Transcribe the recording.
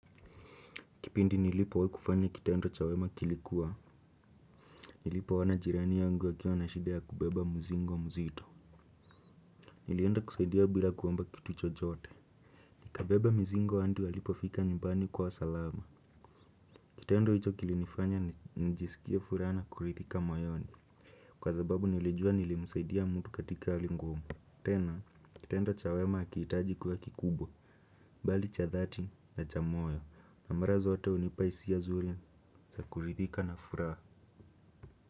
Kipindi nilipo wai kufanya kitendo cha wema kilikuwa. Nilipo ona jirani yangu akiwa na shida kubeba mzigo mzito. Nilienda kusaidia bila kuomba kitu chochote. Kabeba muzingo andi walipofika nyumbani kwao salama. Kitendo icho kilinifanya njisikia fura na kurithika moyoni. Kwa zababu nilijua nilimusaidia mtu katika ali ngumu. Tena, kitendo cha wema hakiitaji kuwa kikubwa. Bali cha dhati na cha moyo. Na mara zote unipa isia zuri za kurithika na furaha.